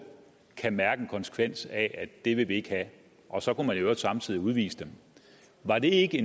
kan mærke en konsekvens af at det vil vi ikke have og så kunne man i øvrigt samtidig udvise dem var det ikke